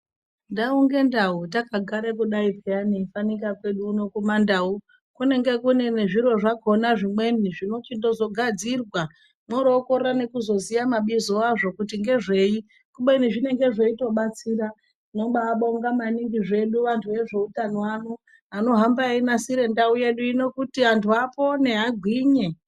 Ndau ngendau takagare kudai peyani fanika kwedu uno kumandau kunenge kunee zviro zvakhona zvimweni zvinochizogadzirwa mworokorwra nekuzoziya mabizo azvo kuti ngezvei kubeni zvinenge zvechitobatsira tinobaabonga maningi zvedu antu ezveutano ano anohamba einasire ndau yesu kuti antu apone agwinye.